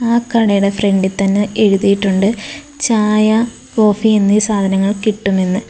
ആ കടയുടെ ഫ്രണ്ടിൽ തന്നെ എഴുതിയിട്ടുണ്ട് ചായ കോഫി എന്നീ സാധനങ്ങൾ കിട്ടുമെന്ന്.